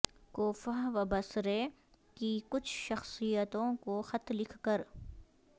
کوفہ و بصرے کی کچھ شخصیتوں کو خط لکھ کر